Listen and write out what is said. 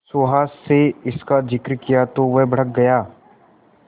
सुहास से इसका जिक्र किया तो वह भड़क गया